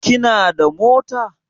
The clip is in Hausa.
Kina da mota?